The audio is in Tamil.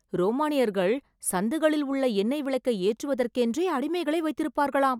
ரோமானியர்கள் சந்துகளில் உள்ள எண்ணெய் விளக்கை ஏற்றுவதற்கென்றே அடிமைகளை வைத்திருப்பார்களாம்.